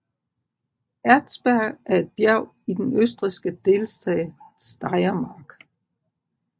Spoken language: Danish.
Erzberg er et bjerg i den østrigske delstat Steiermark